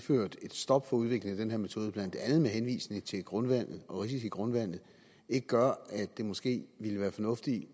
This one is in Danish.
et stop for udviklingen af den her metode blandt andet med henvisning til grundvandet og risici grundvandet ikke gør at det måske ville være fornuftigt